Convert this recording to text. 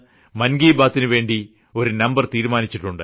മൻ കി ബാതിനു വേണ്ടി ഒരു നമ്പർ തീരുമാനിച്ചിട്ടുണ്ട്